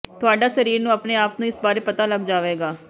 ਤੁਹਾਡਾ ਸਰੀਰ ਨੂੰ ਆਪਣੇ ਆਪ ਨੂੰ ਇਸ ਬਾਰੇ ਪਤਾ ਲੱਗ ਜਾਵੇਗਾ